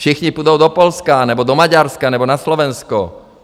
Všichni půjdou do Polska nebo do Maďarska nebo na Slovensko?